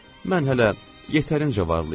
Mən hələ yetərincə varlıyam.